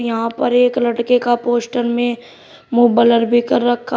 वहां पर एक लड़के का पोस्टर में मुंह ब्लर भी कर रखा है।